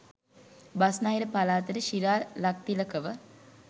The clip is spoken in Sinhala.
බස්නාහිර පළාතට ශිරාල් ලක්තිලකව